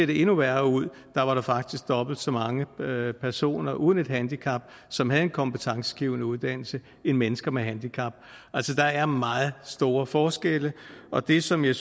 det endnu værre ud der var der faktisk dobbelt så mange personer uden et handicap som havde en kompetencegivende uddannelse end mennesker med handicap altså der er meget store forskelle og det som jeg